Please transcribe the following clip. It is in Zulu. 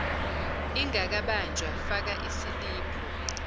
ingakabanjwa faka isiliphu